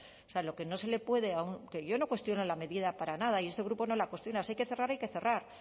o sea lo que no se le puede que yo no cuestiono la medida para nada y este grupo no la cuestiona si hay que cerrar hay que cerrar